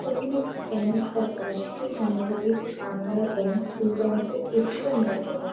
এখানে একটি ব্যাঙ্ক দেখা যাচ্ছে। সম্ভবত এটি কানাডা ব্যাঙ্ক এই ব্যাঙ্ক -এর এ.টি.এম. দেখা যাচ--